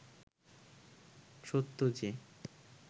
সত্য যে